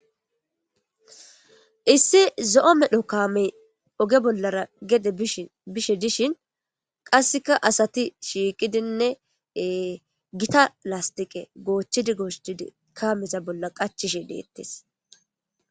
Issi zo'omedho kamey oge bollara gede bishe dishin qasika iza asati shiqidine gita lasitiqe gochidi gochidi iza bolla qachishe de'etes